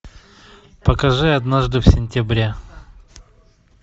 покажи однажды в сентябре